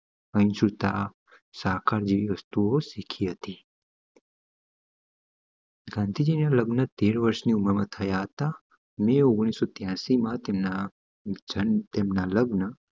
જેવી વસ્તુઓ શીખી હતી ગાંધીજી ના લગ્ન તેર વરસ ની ઉમર માં થયા તા મે ઓગણીસો ત્ર્યાસી માં તેમ તેમના લગ્ન